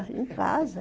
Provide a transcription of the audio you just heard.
Em casa.